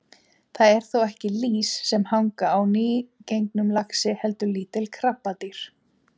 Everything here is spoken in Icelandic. Það eru þó ekki lýs sem hanga á nýgengnum laxi heldur lítil krabbadýr.